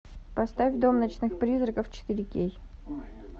поставь дом ночных призраков четыре кей